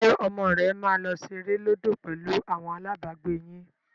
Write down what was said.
Ṣé ọmọ rẹ máa lọ ṣeré lódò pẹ̀lú àwọn alábàágbé yín?